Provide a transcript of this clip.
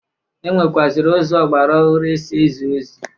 E nwekwụazịrị ụzọ ọgbara ọhụrụ e si ezi ozi.